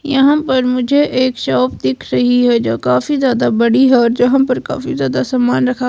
यहां पर मुझे एक शॉप दिख रही है जो काफी ज्यादा बड़ी है और यहां पर काफी ज्यादा समान रखा--